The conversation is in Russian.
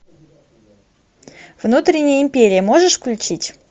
внутренняя империя можешь включить